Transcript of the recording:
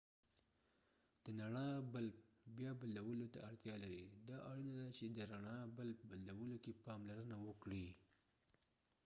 د ڼړا بلب بیا بدلولو ته اړتیا لري دا اړینه ده چې د رڼړا بلب بدلولو کې پاملرنه وکړئ